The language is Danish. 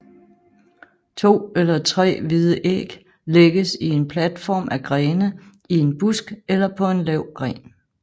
To eller tre hvide æg lægges i en platform af grene i en busk eller på en lav gren